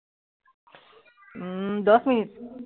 উম দহ মিনিট